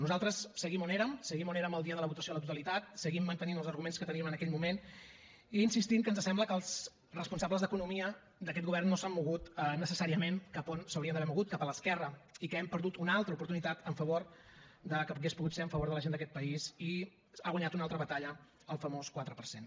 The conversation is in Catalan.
nosaltres seguim on érem seguim on érem el dia de la votació a la totalitat seguim mantenint els arguments que teníem en aquell moment i insistint que ens sembla que els responsables d’economia d’aquest govern no s’han mogut necessàriament cap on s’haurien d’haver mogut cap a l’esquerra i que hem perdut una altra oportunitat que hauria pogut ser en favor de la gent d’aquest país i ha guanyat una altra batalla el famós quatre per cent